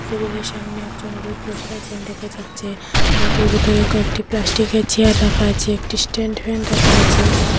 টেবিলের সামনে একজন লোক বসে আছেন দেখা যাচ্চে ঘরটির ভিতরে কয়েকটি প্লাস্টিকের চেয়ার রাখা আচে একটি স্ট্যান্ড ফ্যাণ রাখা আচে।